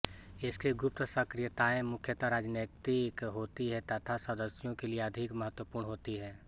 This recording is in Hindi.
इसकी गुप्त सक्रियताएं मुख्यतः राजनैतिक होती हैं तथा सदस्यों के लिए अधिक महत्वपूर्ण होती हैं